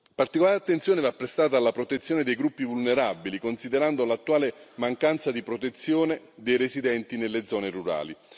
Particolare attenzione va prestata alla protezione dei gruppi vulnerabili, considerando l'attuale mancanza di protezione dei residenti nelle zone rurali.